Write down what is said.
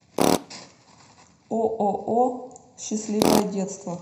ооо счастливое детство